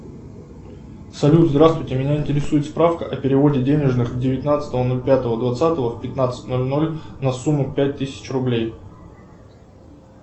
салют здравствуйте меня интересует справка о переводе денежных девятнадцатого ноль пятого двадцатого в пятнадцать ноль ноль на сумму пять тысяч рублей